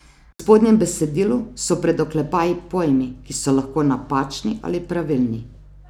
V spodnjem besedilu so pred oklepaji pojmi, ki so lahko napačni ali pravilni.